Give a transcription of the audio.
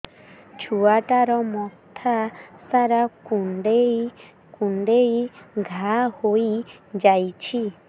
ଛୁଆଟାର ମଥା ସାରା କୁଂଡେଇ କୁଂଡେଇ ଘାଆ ହୋଇ ଯାଇଛି